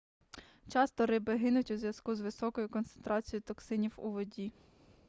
часто риби гинуть у зв'язку з високою концентрацією токсинів у воді